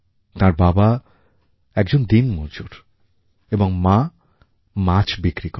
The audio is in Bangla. তাঁর বাবা একজন দিনমজুর এবং মা মাছ বিক্রি করেন